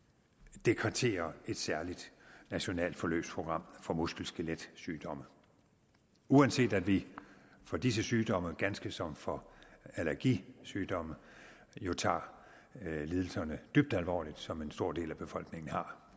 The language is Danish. dekretere et særligt nationalt forløbsprogram for muskel skelet sygdomme uanset at vi for disse sygdomme ganske som for allergisygdomme jo tager lidelserne dybt alvorligt som en stor del af befolkningen har